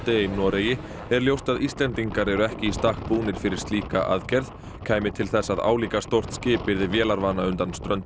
í Noregi er ljóst að Íslendingar eru ekki í stakk búnir fyrir slíka aðgerð kæmi til þess að álíka stórt skip yrði vélarvana undan ströndum